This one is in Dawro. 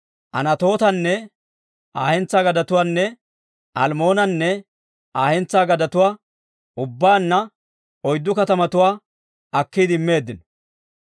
Anatootanne Aa hentsaa gadetuwaanne Almmoonanne Aa hentsaa gadetuwaa, ubbaanna oyddu katamatuwaa akkiide immeeddino.